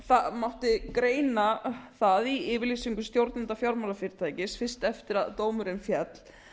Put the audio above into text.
það mátti greina það í yfirlýsingu stjórnenda fjármálafyrirtækis fyrst eftir að dómurinn féll